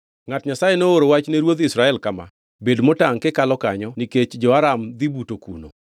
Ngʼat Nyasaye nooro wach ne ruodh Israel kama: “Bed motangʼ kikalo kanyo nikech jo-Aram dhi buto kuno.”